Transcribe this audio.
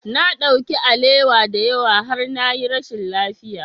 Na ɗauki alewa da yawa har na yi rashin lafiya.